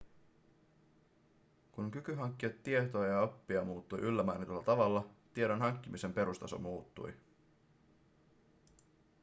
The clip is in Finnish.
kun kyky hankkia tietoa ja oppia muuttui yllä mainitulla tavalla tiedon hankkimisen perustaso muuttui